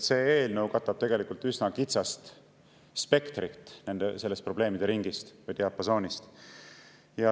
See eelnõu katab tegelikult üsna kitsast sellest probleemide ringist või diapasoonist.